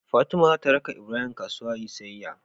Fatima zata raka ibrahim kasuwa yayi siyyaya